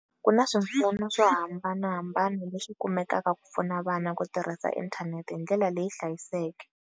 Ku na swipfuno swo hambanahambana leswi kumekaka ku pfuna vana ku tirhisa inthanete hi ndlela leyi hlayisekeke.